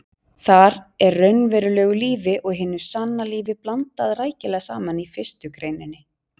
Þar er raunverulegu lífi og hinu sanna lífi blandað rækilega saman í fyrstu greininni.